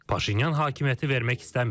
Paşinyan hakimiyyəti vermək istəmir.